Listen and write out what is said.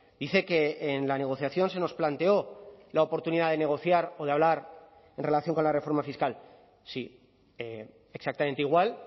dice que en la negociación se nos planteó la oportunidad de negociar o de hablar en relación con la reforma fiscal sí exactamente igual